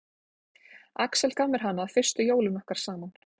Axel gaf mér hana fyrstu jólin okkar saman.